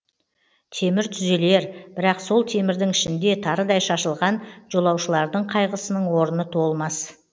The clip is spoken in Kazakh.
темір түзелер бірақ сол темірдің ішінде тарыдай шашылған жолаушылардың қайғысының орны толмас